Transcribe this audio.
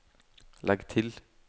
legg til